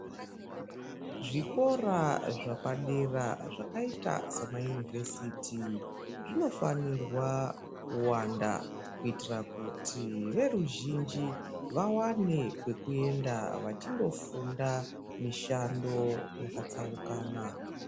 Zvikora zvepadera zvakaita samayunivhesiti zvinofanirwa kuwanda kuitira kuti veruzhinji vawane kwekuenda vachindofunda mishando yakatsaukana.